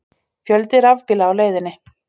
Fjöldi rafbíla á leiðinni